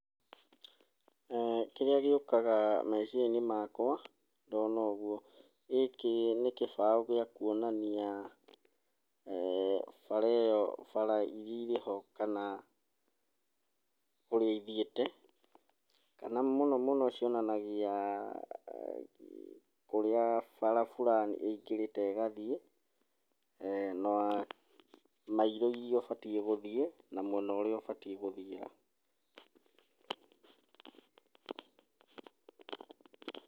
Kĩrĩa gĩũkaga meciria-inĩ makwa, ndona ũguo. Gĩkĩ nĩ gĩbao gĩa kuonania bara ĩyo, bara iria irĩ ho kana kũrĩa ithiĩte, kana mũno mũno cionanagia kũrĩa bara burani ĩingĩrĩte ĩgathiĩ, na mairo iria ũbatiĩ gũthiĩ, na mwena ũrĩa ũbatiĩ gũthiĩ.